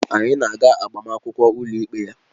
Anyị na-aga agbamakwụkwọ ụlọikpe ya